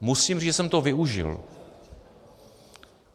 Musím říct, že jsem to využil.